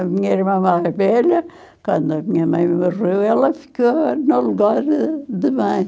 A minha irmã mais velha, quando a minha mãe morreu, ela ficou no lugar de de mãe.